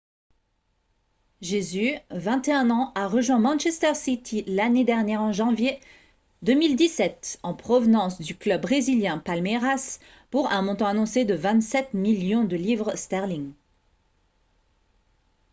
jesus 21 ans a rejoint manchester city l'année dernière en janvier 2017 en provenance du club brésilien palmeiras pour un montant annoncé de 27 millions de livres sterling